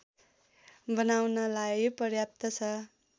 बनाउनलाई पर्याप्त छ